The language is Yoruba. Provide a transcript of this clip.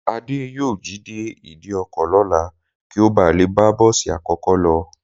Adé yóò jí dé ìdíkọ̀ lọ́la kí ó ba lè bá bọ́ọ̀sì àkọ́kọ́ lọ